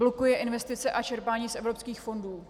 Blokuje investice a čerpání z evropských fondů.